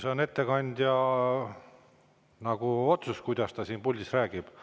See on ettekandja otsus, mida ta siin puldis räägib.